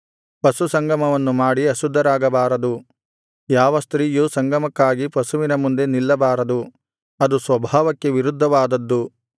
ಪಶುಸಂಗಮವನ್ನು ಮಾಡಿ ಅಶುದ್ಧರಾಗಬಾರದು ಯಾವ ಸ್ತ್ರೀಯೂ ಸಂಗಮಕ್ಕಾಗಿ ಪಶುವಿನ ಮುಂದೆ ನಿಲ್ಲಬಾರದು ಅದು ಸ್ವಭಾವಕ್ಕೆ ವಿರುದ್ಧವಾದದ್ದು